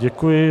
Děkuji.